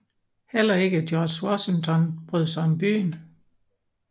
Heller ikke George Washington brød sig om byen